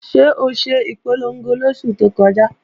Ṣé o ṣe ìpolongo lóṣù tó kọjá?